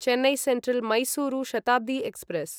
Chennai central Mysuru Shatabdi express